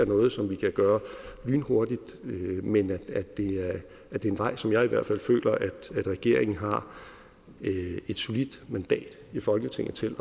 noget som vi kan gøre lynhurtigt men det er en vej som jeg i hvert fald føler at regeringen har et solidt mandat i folketinget til